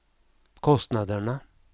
kostnaderna